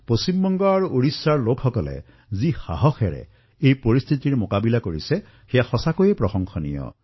পশ্চিমবংগ আৰু ওড়িশাৰ লোকসকলে যি সাহসেৰে পৰিস্থিতিৰ সন্মুখীন হৈছে সেয়া অতিশয় প্ৰশংসনীয়